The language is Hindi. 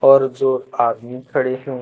और जो आदमी खड़े हैं।